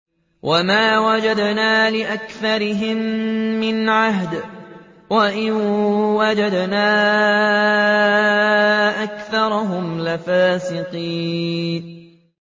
وَمَا وَجَدْنَا لِأَكْثَرِهِم مِّنْ عَهْدٍ ۖ وَإِن وَجَدْنَا أَكْثَرَهُمْ لَفَاسِقِينَ